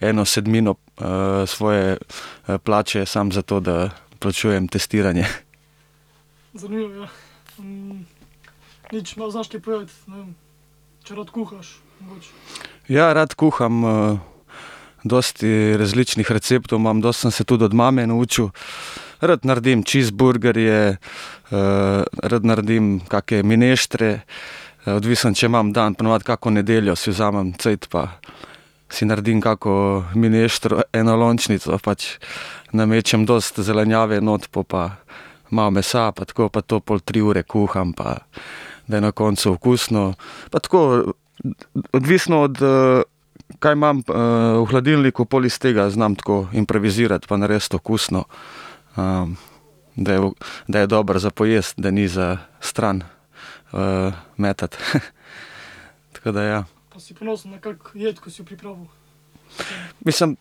eno sedmino, svoje, plače, samo za to, da plačujem testiranje. Ja, rad kuham. dosti različnih receptov imam, dosti sem se tudi od mame naučil. Rad naredim cheeseburgerje, rad naredim kake mineštre, odvisno, če imam dan, po navadi kako nedeljo si vzamem cajt pa si naredim kako mineštro, enolončnico pač. Namečem dosti zelenjave not, po pa malo mesa pa tako, pa to pol tri ure kuham pa da je na koncu okusno. Pa tako, odvisno od, kaj imam, v hladilniku, pol iz tega znam tako improvizirati pa narediti okusno, da je da je dobro za pojesti, da ni za stran, metati, Tako da ja. Mislim,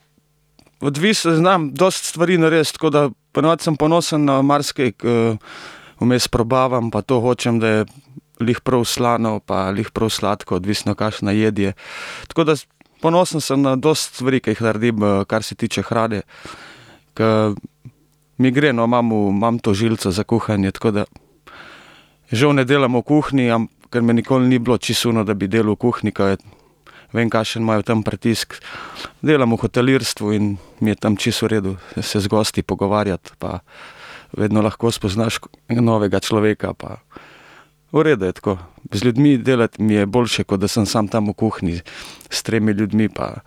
odvisno. Znam dosti stvari narediti, tako da po navadi sem ponosen na marsikaj. vmes probavam pa to, hočem, da je glih prav slano pa glih prav sladko, odvisno, kakšna jed je. Tako da ponosen sem na dosti stvari, ke jih naredim, kar se tiče hrane, ke mi gre, no, imam v, imam to žilico za kuhanje. Tako da žal ne delam v kuhinji, kar mi nikoli ni bilo čisto ono, da bi delal v kuhinji, ke vem, kakšen imajo tam pritisk. Delam v hotelirstvu in mi je tam čisto v redu se z gosti pogovarjati pa vedno lahko spoznaš novega človeka pa v redu je, tako. Z ljudmi delati mi je boljše, kot da sem samo tam v kuhinji s tremi ljudmi pa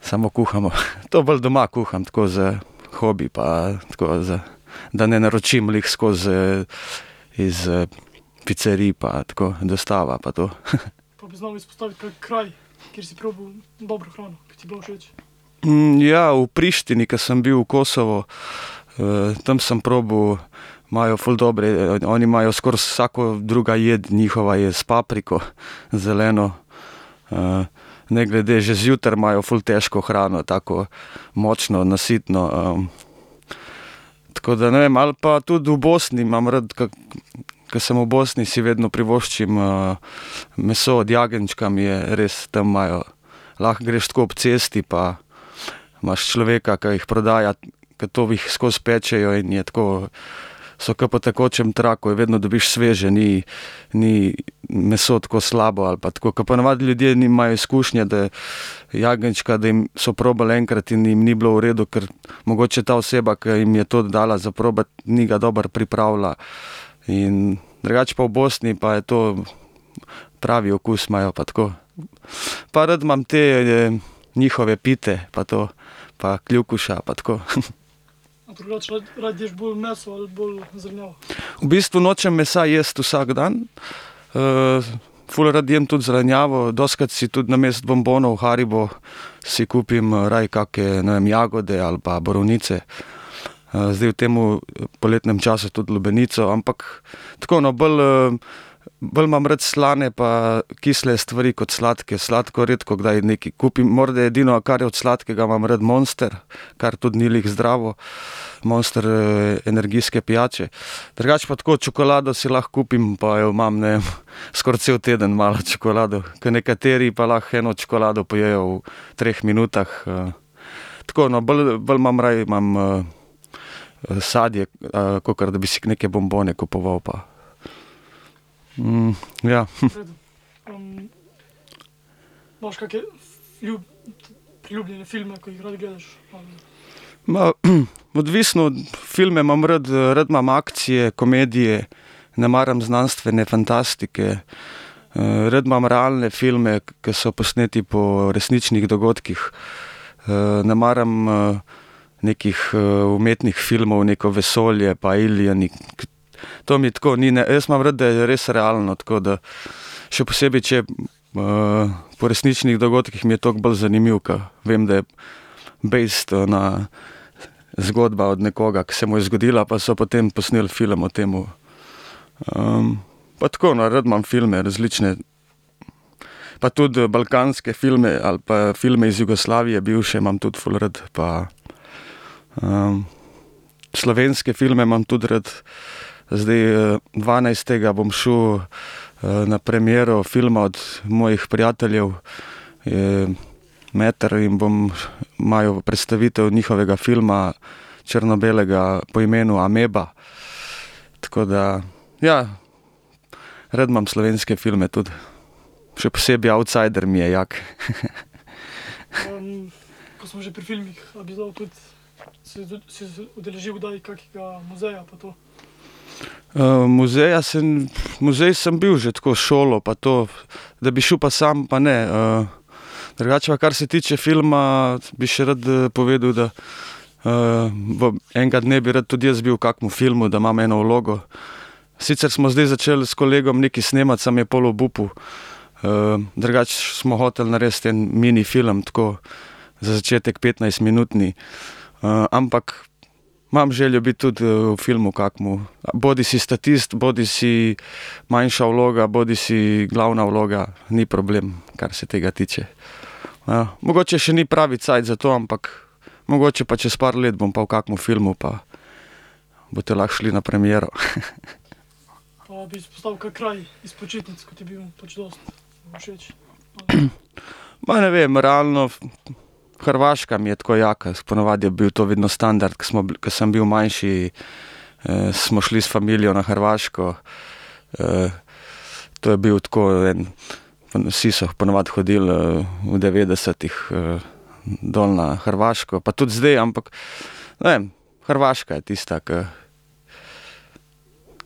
samo kuhamo. To bolj doma kuham, tako, za hobi pa tako, za, da ne naročim glih skozi, iz, picerij pa tako, dostava pa to, ja, v Prištini, ke sem bil, v Kosovo. tam sem probal, imajo ful dobre, oni imajo skoraj vsaka druga jed njihova je s papriko zeleno. ne glede, že zjutraj imajo ful težko hrano, tako močno, nasitno, Tako da ne vem, ali pa tudi v Bosni imam rad kako, ke sem v Bosni, si vedno privoščim, meso od jagenjčka, mi je, res ... Tam imajo, lahko greš tako ob cesti pa imaš človeka, ke jih prodaja. Ker to jih skozi pečejo in je tako, so ke po tekočem traku je, vedno dobiš sveže. Ni, ni meso tako slabo ali pa tako. Ke po navadi ljudje eni imajo izkušnje, da jagenjčka, da jim, so probali enkrat in jim ni bilo v redu, ker mogoče ta oseba, ki jim je to dala za probati, ni ga dobro pripravila in ... Drugače pa v Bosni pa je to, pravi okus imajo, pa tako. Pa rad imam te, njihove pite pa to. Pa kljukuša pa tako. V bistvu nočem mesa jesti vsak dan. ful rad jem tudi zelenjavo. Dostikrat si tudi namesto bonbonov Haribo si kupim, raje kake, ne vem, jagode ali pa borovnice. zdaj v temu poletnem času tudi lubenico. Ampak tako no, bolj, bolj imam rad slane pa kisle stvari kot sladke. Sladko redkokdaj nekaj kupim. Morda edino, kar je od sladkega, imam rad Monster, kar tudi ni glih zdravo, Monster, energijske pijače. Drugače pa tako, čokolado si lahko kupim, pa jo imam, ne vem, skoraj cel teden malo čokolado. Ke nekateri pa lahko eno čokolado pojejo v treh minutah, Tako, no, bolj, bolj imam raje imam, sadje, kakor da bi si neke bonbone kupoval pa. ja, odvisno. Filme imam rad, rad imam akcije, komedije, ne maram znanstvene fantastike. rad imam realne filme, ke so posneti po resničnih dogodkih. ne maram, nekih, umetnih filmov, neko vesolje pa alieni. To mi tako ni, ne, jaz imam rad, da je res realno, tako, da ... Še posebej če, po resničnih dogodkih, mi je toliko bolj zanimivo, ker vem, da based, na zgodbi od nekoga, ke se mu je zgodila pa so potem posneli film o tem. pa tako, no, rad imam filme različne. Pa tudi, balkanske filme ali pa filme iz Jugoslavije bivše imam tudi ful rad pa, slovenske filme imam tudi rad. Zdaj, dvanajstega bom šel, na premiero filma od mojih prijateljev, Meter in bom, imajo predstavitev njihovega filma črno-belega po imenu Ameba. Tako da ja, rad imam slovenske filme tudi. Še posebej Outsider mi je jak. muzeja se, muzej sem bil že tako, s šolo pa to, da bi šel pa sam pa ne. drugače pa, kar se tiče filma, bi še rad, povedal, da, v enkrat, ne, bi rad tudi jaz bil v kakem filmu, da imam eno vlogo. Sicer smo zdaj začeli s kolegom nekaj snemati, samo je pol obupal. drugače smo hoteli narediti en mini film, tako, za začetek petnajstminutni, ampak ... Imam željo biti tudi, v filmu, kakem, bodisi statist bodisi manjša vloga bodisi glavna vloga. Ni problem, kar se tega tiče. mogoče še ni pravi cajt za to, ampak mogoče pa čez par let bom pa v kakem filmu pa boste lahko šli na premiero, ne vem. Realno Hrvaška mi je tako jaka. Saj po navadi je bil to vedno standard, ke smo, ke sem bil manjši, smo šli s familijo na Hrvaško. to je bil tako en, vsi so po navadi hodili, v devetdesetih, dol na Hrvaško. Pa tudi zdaj, ampak, ne vem, Hrvaška je tista, ke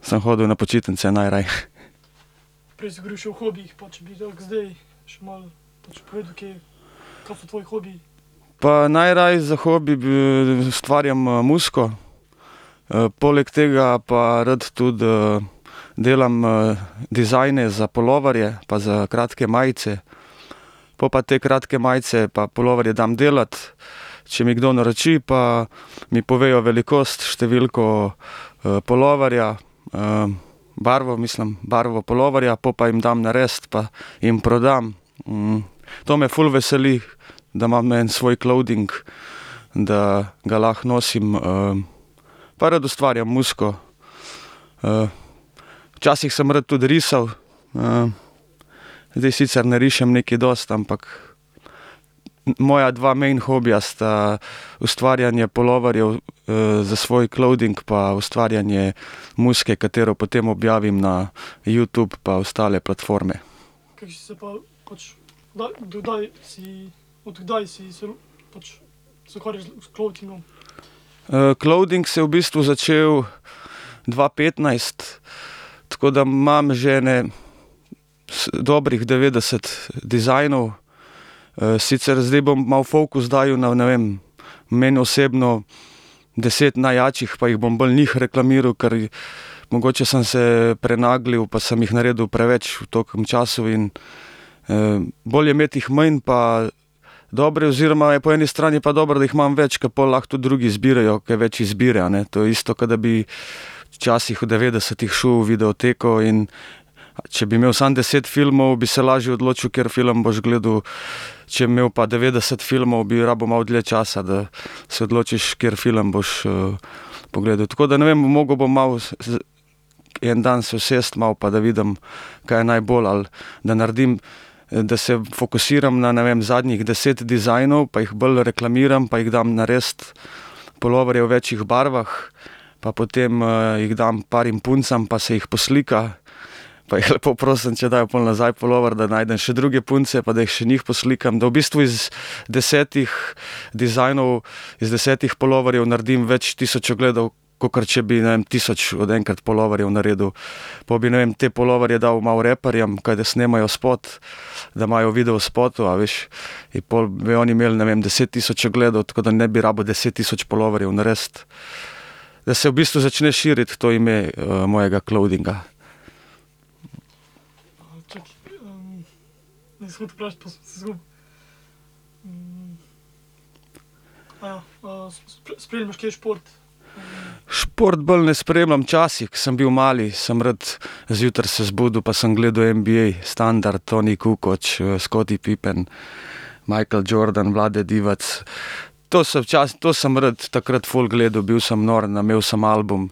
sem hodil na počitnice najraje. Pa najraje za hobi ustvarjam muziko. poleg tega pa rad tudi, delam, dizajne za puloverje pa za kratke majice. Po pa te kratke majice pa puloverje dam delati, če mi kdo naroči, pa mi povejo velikost, številko, puloverja, barvo, mislim, barvo puloverja, pol pa jim dam narediti pa jim prodam. to me ful veseli, da imam en svoj clothing, da ga lahko nosim. pa rad ustvarjam muziko. včasih sem rad tudi risali, zdaj sicer ne rišem nekaj dosti, ampak moja dva main hobija sta ustvarjanje puloverjev, za svoj clothing pa ustvarjanje muzike, katero potem objavim na Youtube pa ostale platforme. clothing se je v bistvu začel dva petnajst, tako da imam že ene dobrih devetdeset dizajnov. sicer zdaj bom malo fokus dajal na, ne vem, meni osebno deset najjačih pa jih bom bolj njih reklamiral, ker mogoče sem se prenaglil pa sem jih naredil preveč v tolikem času in ... bolj je imeti jih manj pa dobre oziroma je po eni strani pa dobro, da jih imam več, kot pol lahko tudi drugi izbirajo, ker je več izbire, a ne. To je isto, ke da bi včasih, v devetdesetih šel v videoteko, in če bi imeli samo deset filmov, bi se lažje odločil, kateri film boš gledal, če bi imeli pa devetdeset filmov, bi rabil malo dlje časa, da se odločiš, kateri film boš, pogledal. Tako da ne vem, mogel bom malo en dan se usesti malo, pa da vidim, kaj je najbolj. Ali da naredim, da se fokusiram na, ne vem, zadnjih deset dizajnov pa jih bolj reklamiram pa jih dam narediti puloverje v večih barvah pa potem, jih dam parim puncam pa se jih poslika, pa jih lepo prosim, če dajo pol nazaj pulover, da najdem še druge punce, pa da jih še njih poslikam. Da v bistvu iz desetih dizajnov, iz desetih puloverjev naredim več tisoč ogledov, kakor če bi, ne vem, tisoč od enkrat puloverjev naredil. Po bi, ne vem, te puloverje dal malo raperjem, kadar snemajo spot, da imajo v videospotu, a veš. In pol bi oni imeli, ne vem, deset tisoč ogledov, tako da ne bi rabili deset tisoč puloverjev narediti. Da se v bistvu začne širiti to ime, mojega clothinga. Šport bolj ne spremljam. Včasih, ke sem bil mali, sem rad zjutraj se zbudil pa sem gledal NBA. Standard, Toni Kukoč, Scottie Pippen, Michael Jordan, Vlade Divac. To sem to sem rad takrat ful gledal, bil sem nor na, imel sem album.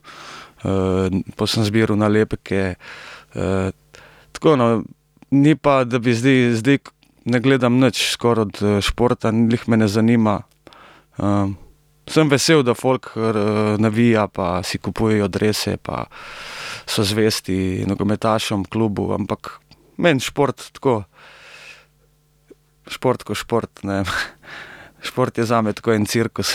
po sem zbiral nalepke. tako, no, ni pa, da bi zdaj, zdaj ne gledam nič skoraj od, športa, glih me ne zanima. sem vesel, da folk, navija pa si kupujejo drese pa so zvesti nogometašem, klubu, ampak meni šport tako šport ko šport, ne vem. Šport je zame tako en cirkus,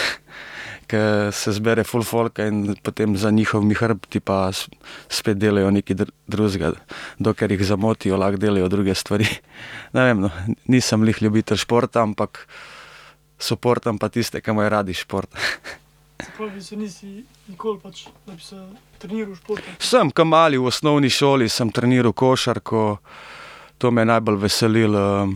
ker se zbere ful folka in potem za njihovimi hrbti pa spet delajo nekaj drugega. Dokler jih zamotijo, lahko delajo druge stvari. Ne vem, no, nisem glih ljubitelj športa, ampak suportam pa tiste, ke imajo radi šport. Sem. Ke mali v osnovni šoli sem treniral košarko, to me je najbolj veselilo.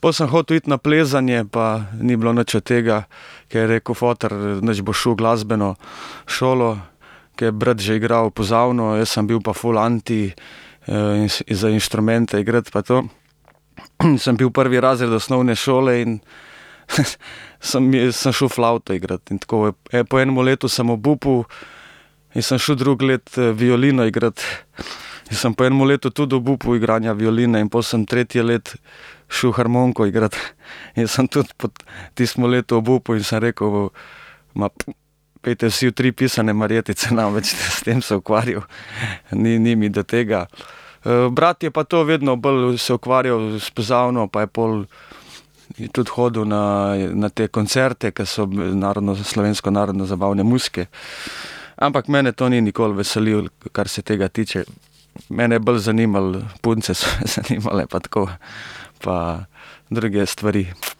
pol sem hotel iti na plezanje pa ni bilo nič od tega, ko je rekel foter: "Nič, boš šel v glasbeno šolo." Ke je brat že igral pozavno, jaz sem bil pa ful anti, za inštrumente igrati pa to. sem bil prvi razred osnovne šole in, samo sem šel flavto igrat. In tako, po enem letu sem obupal in sem šel drugo leto, violino igrat. In sem po enem letu tudi obupal, igranja violine, in pol sem tretje leto šel harmoniko igrat. In sem tudi po tistem letu obupal in sem rekel: pojdite vsi v tri pisane marjetice, ne bom več s tem se ukvarjal. Ni, ni mi do tega." brat je pa to vedno bolj se ukvarjal s pozavno pa je pol je tudi hodil na, na te koncerte, ke so s slovensko narodnozabavne muzike. Ampak mene to ni nikoli veselilo, kar se tega tiče. Mene je bolj zanimalo, punce so me zanimale pa tako. Pa druge stvari.